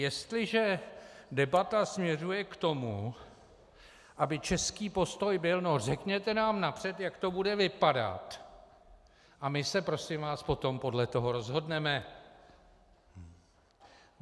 Jestliže debata směřuje k tomu, aby český postoj byl: no řekněte nám napřed, jak to bude vypadat, a my se, prosím vás, potom podle toho rozhodneme.